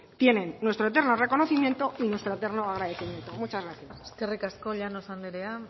tienen nuestro eterno reconocimiento y nuestro eterno agradecimiento muchas gracias eskerrik asko llanos anderea